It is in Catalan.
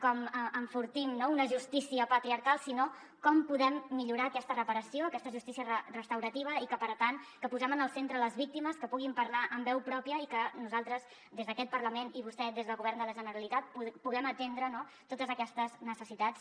com enfortim una justícia patriarcal sinó com podem millorar aquesta reparació aquesta justícia restaurativa i per tant que posem en el centre les víctimes que puguin parlar amb veu pròpia i que nosaltres des d’aquest parlament i vostè des del govern de la generalitat puguem atendre totes aquestes necessitats